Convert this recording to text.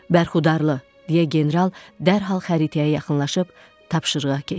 Bərxudarlı, deyə general dərhal xəritəyə yaxınlaşıb tapşırığa keçdi.